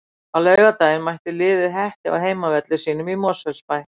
Á laugardaginn mætir liðið Hetti á heimavelli sínum í Mosfellsbæ.